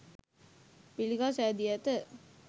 පිළිකා සෑදී ඇත